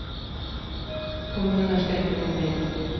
Kommuner ska inte gå med vinst.